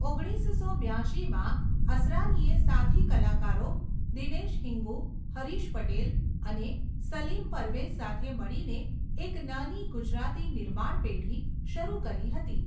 ઓગણીસસો બ્યાશીમાં અસરાનીએ સાથી કલાકારો દિનેશ હિંગૂ, હરીશ પટેલ અને સલીમ પરવેઝ સાથે મળીને એક નાની ગુજરાતી નિર્માણ પેઢી શરૂ કરી હતી.